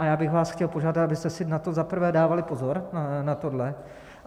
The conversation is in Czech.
A já bych vás chtěl požádat, abyste si na to za prvé dávali pozor, na toto.